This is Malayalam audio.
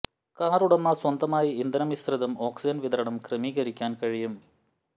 കാർ ഉടമ സ്വതന്ത്രമായി ഇന്ധന മിശ്രിതം ഓക്സിജൻ വിതരണം ക്രമീകരിക്കാൻ കഴിയും